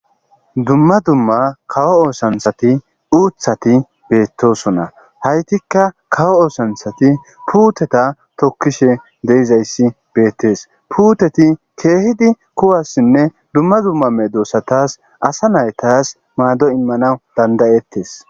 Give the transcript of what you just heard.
Dumma dumma kawo oosanthati uuthati beettosona haytikka kawo oosanthati puuteta tokkishe deyizayssi beettes puuteti keehidi kuwassinne dumma dumma medosatas asa naytas maado immanaw dandayettes.